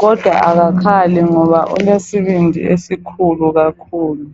kodwa akakhali ngoba ulesibindi esikhulu kakhulu.